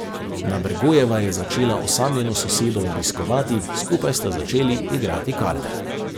Nabergojeva je začela osamljeno sosedo obiskovati, skupaj sta začeli igrati karte.